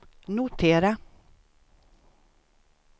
notera